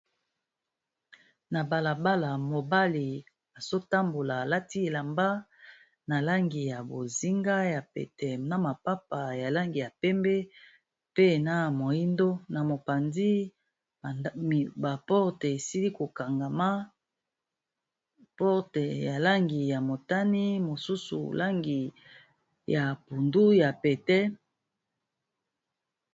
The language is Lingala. Na balabala, mobali azo tambola a lati elamba na langi ya bozinga ya pete na mapapa ya langi ya pembe pe na moyindo na mopanzi ba portes esili ko kangama, porte ya langi ya motane mosusu ya langi ya pondu ya pete..